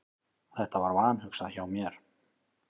Þetta var vanhugsað hjá mér.